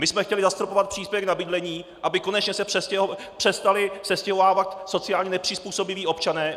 My jsme chtěli zastropovat příspěvek na bydlení, aby konečně se přestali sestěhovávat sociálně nepřizpůsobiví občané.